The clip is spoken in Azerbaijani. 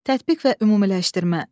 Tətbiq və ümumiləşdirmə.